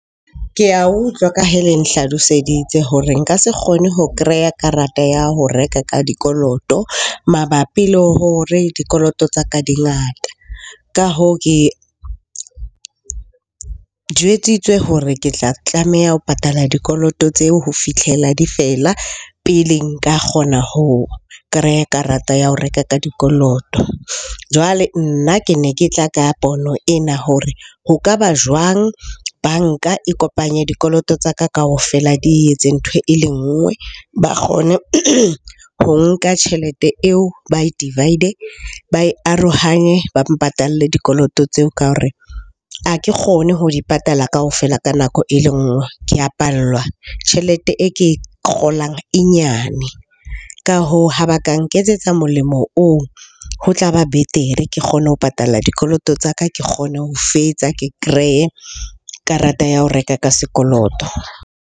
Ke a utlwa ka hee le nhlaloseditse hore nka se kgone ho kreya karata ya ho reka ka dikoloto mabapi le hore dikoloto tsa ka di ngata. Ka hoo, ke jwetsitswe hore ke tla tlameha ho patala dikoloto tseo ho fitlhela di fela pele nka kgona ho kreya karata ya ho reka ka dikoloto. Jwale nna ke ne ke tla ka pono ena hore ho ka ba jwang banka e kopanye dikoloto tsa ka kaofela, di etse ntho e le nngwe. Ba kgone ho nka tjhelete eo ba e divide ba e arohanye, ba mpatalle dikoloto tseo. Ka hore ha ke kgone ho di patala kaofela ka nako e le nngwe, ke a pallwa. Tjhelete e ke e kgolang e nyane. Ka hoo ha ba ka nketsetsa molemo oo ho tla ba betere. Ke kgone ho patala dikoloto tsa ka, ke kgone ho fetsa ke kreye karata ya ho reka ka sekoloto.